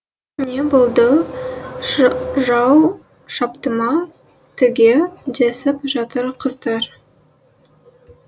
не болды жау шапты ма түге десіп жатыр қыздар